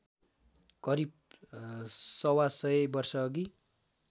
करिब सवासय वर्षअघि